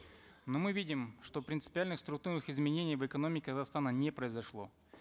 но мы видим что принципиальных структурных изменений в экономике казахстана не произошло